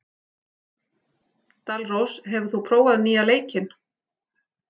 Dalrós, hefur þú prófað nýja leikinn?